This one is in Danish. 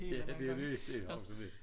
Ja det jo det